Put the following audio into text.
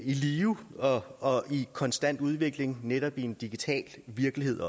i live og og i konstant udvikling netop også i en digital virkelighed